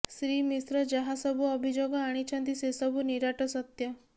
ଶ୍ରୀ ମିଶ୍ର ଯାହାସବୁ ଅଭିଯୋଗ ଆଣିଛନ୍ତି ସେସବୁ ନିରାଟ ସତ୍ୟ